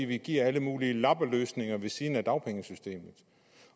vi giver alle mulige lappeløsninger ved siden af dagpengesystemet